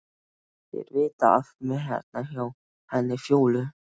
Þeir vita af mér hérna hjá henni Fjólu.